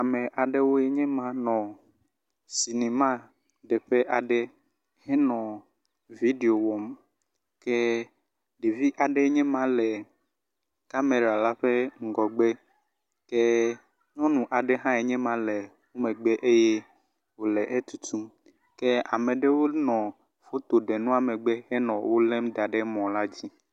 Ame aɖewoe nye ma nɔ sinimaɖeƒe aɖe henɔ viɖio wɔm ke ɖevi aɖe enye ma le kamera la ƒe ŋgɔgbe ke nyɔnu aɖe haenye ma le megbe eye wole etutum. Ame aɖewo nɔ fotoɖenua megbe henɔ lém da ɖe mɔ la dzi.